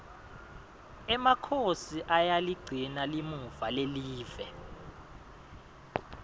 emakhosi ayaligcina limuva lelive